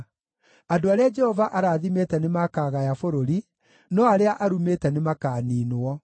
andũ arĩa Jehova arathimĩte nĩmakagaya bũrũri, no arĩa arumĩte nĩmakaniinwo.